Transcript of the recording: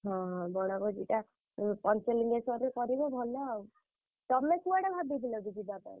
ହଁ ବନଭୋଜିଟା ପଞ୍ଚଲିଙ୍ଗେଶ୍ୱରରେ କରିବ ଭଲ ଆଉ। ତମେ କୁଆଡେ ଭାବିଥିଲ କି ଯିବା ପାଇଁ?